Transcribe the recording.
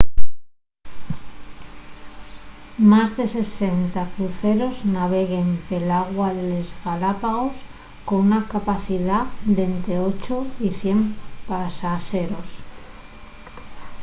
más de 60 cruceros naveguen pel agua de les galápagos con una capacidá d'ente 8 y 100 pasaxeros